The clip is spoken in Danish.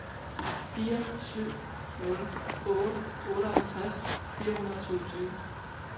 fire syv nul otte otteoghalvtreds fire hundrede og syvogtyve